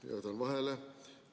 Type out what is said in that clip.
"– jätan vahele –"...